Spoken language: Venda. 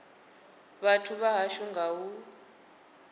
vhathu vha hashu nga u